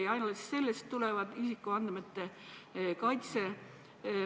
Ja ainuüksi sellest tuleb isikuandmete kaitse.